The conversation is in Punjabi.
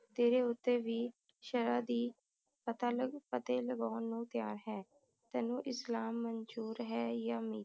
ਤੇਰੇ ਉਤੇ ਵੀ ਸ਼ਹਿਰ ਦੀ ਪਤਾ ਲੱਗ ਪਤੇ ਲਗਾਉਣ ਨੂੰ ਤਿਆਰ ਹੈ ਤੈਨੂੰ ਇਸਲਾਮ ਮੰਜੂਰ ਹੈ ਯਾ ਨਹੀਂ